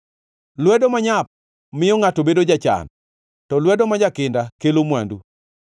Lwedo manyap miyo ngʼato bedo jachan, to lwedo ma jakinda kelo mwandu.